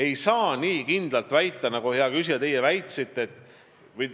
Ei saa nii kindlalt väita, nagu teie, hea küsija, väitsite.